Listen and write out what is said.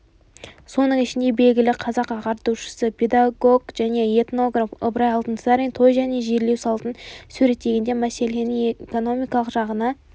соның ішінде белгілі қазақ ағартушысы педагог және этнограф ыбырай алтынсарин той және жерлеу салтын суреттегенде мәселенің экономикалық жағына